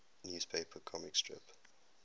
newspaper comic strip